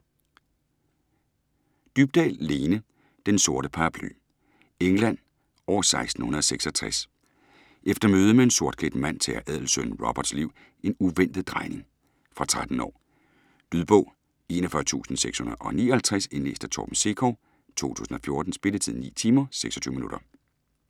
Dybdahl, Lene: Den sorte paraply England år 1666. Efter mødet med en sortklædt mand tager adelsønnen Roberts liv en uventet drejning. Fra 13 år. Lydbog 41659 Indlæst af Torben Sekov, 2014. Spilletid: 9 timer, 26 minutter.